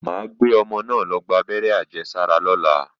Mà á gbé ọmọ náà lọ gbábẹ́rẹ́ àjẹsára lọ́la